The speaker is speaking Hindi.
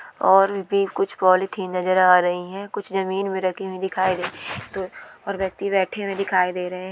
और भी कुछ पोलिथीन नजर आ रहीं है कुछ जमीन मे रखी हुई दिखाई दे रही तो और व्यक्ति बैठे हुए दिखाई दे रहें हैं।